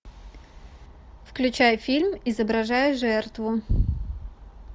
включай фильм изображая жертву